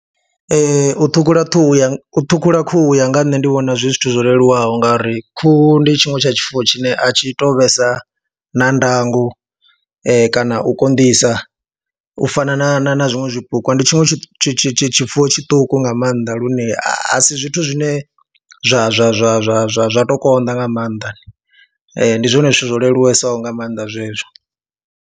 Ee, u ṱhukhula ṱhuhu ya, u ṱhukhula khuhu u ya nga nṋe ndi vhona zwi zwithu zwo leluwaho ngauri khuhu ndi tshiṅwe tsha tshifuwo tshine a tshi tou vhesa na ndango kana u konḓisa u fana na na na zwiṅwe zwipuka, ndi tshiṅwe tshi tshi tshifuwo tshiṱuku nga maanḓa lune a si zwithu zwine zwa zwa zwa zwa zwa zwa tou konḓa nga maanḓa, ndi zwone zwithu zwo leluwesaho nga maanḓa zwezwo.